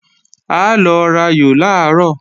A lọ rayò làárọ̀